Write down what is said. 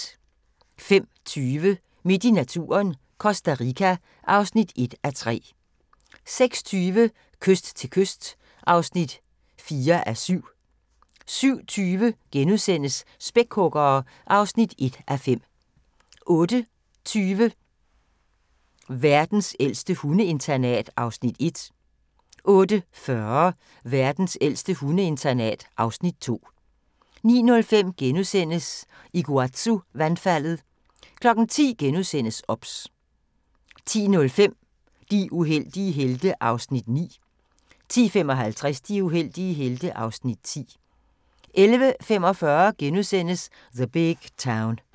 05:20: Midt i naturen – Costa Rica (1:3) 06:20: Kyst til kyst (4:7) 07:20: Spækhuggere (1:5)* 08:20: Verdens ældste hundeinternat (Afs. 1) 08:40: Verdens ældste hundeinternat (Afs. 2) 09:05: Iguazu-vandfaldet * 10:00: OBS * 10:05: De uheldige helte (Afs. 9) 10:55: De uheldige helte (Afs. 10) 11:45: The Big Town *